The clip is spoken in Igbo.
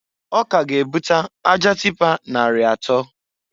O ka ga ebuta aja tịpa nari atọọ.